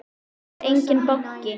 Hér er enginn banki!